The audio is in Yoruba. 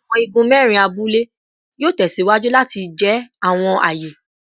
Awọn igun mẹrin abule yoo tẹsiwaju lati jẹ awọn aaye